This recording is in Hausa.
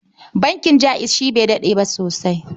Bankin Jaiz shi bai daɗe ba sosai.